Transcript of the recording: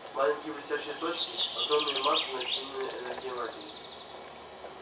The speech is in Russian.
маленькие блестящие точки огромные массы начиненной энергией материи